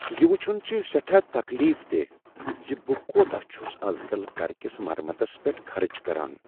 یہ وُچھن چُھ سیٹھا تکلیف دہ زِ بہٕ كوتاہ چھُس اَز کل گھرٕ كِس مرمتس پیٹھ خرچ کران۔